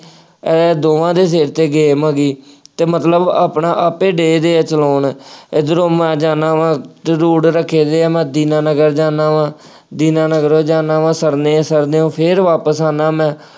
ਅਤੇ ਮਤਲਬ ਆਪਣਾ ਆਪੇ ਡੇ ਦੇ ਆ ਚਲਾਉਣ, ਇੱਧਰੋ ਮੈਂ ਜਾਂਦਾ ਵਾ ਅਤੇ route ਰੱਖੇ ਡੇ ਆ ਮੈਂ ਦੀਨਾਨਗਰ ਜਾਂਦਾ ਵਾ, ਦੀਨਨਗਰੋਂ ਜਾਂਦਾ ਵਾ ਸਰਨੇ, ਸ਼ਰਨਿਉਂ ਫੇਰ ਵਾਪਸ ਆਉਂਦਾ ਮੈਂ,